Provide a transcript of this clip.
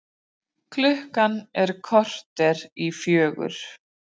Klukkan korter í fjögur